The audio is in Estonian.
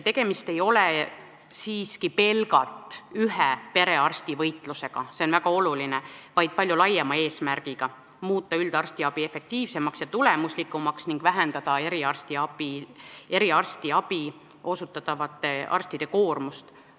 Tegemist ei ole siiski pelgalt ühe perearsti võitlusega – see on väga oluline –, vaid palju laiema eesmärgiga muuta üldarstiabi efektiivsemaks ja tulemuslikumaks ning vähendada eriarstiabi osutavate arstide koormust.